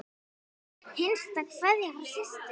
Hinsta kveðja frá systur.